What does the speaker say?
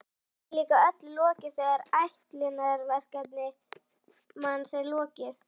Kannski er líka öllu lokið þegar ætlunarverki manns er lokið.